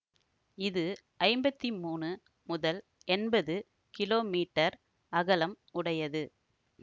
இது ஐம்பத்தி மூனு முதல் எம்பது கிலோமீட்டர் அகலம் உடையது